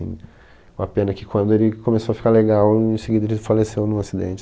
Uma pena que quando ele começou a ficar legal, em seguida ele faleceu num acidente.